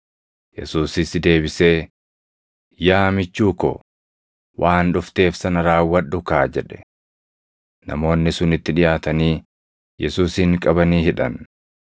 Yesuusis deebisee, “Yaa michuu ko, waan dhufteef sana raawwadhu kaa!” jedhe. Namoonni sun itti dhiʼaatanii Yesuusin qabanii hidhan.